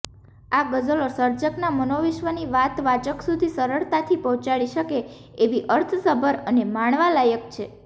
આ ગઝલો સર્જકના મનોવિશ્વની વાત વાચક સુધી સરળતાથી પહોંચાડી શકે એવી અર્થસભર અને માણવાલાયક છે